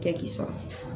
Kɛ k'i sɔrɔ